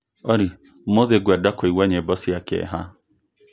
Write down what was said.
olly Ũmũthĩ ngwenda kũigua nyĩmbo cia kĩeha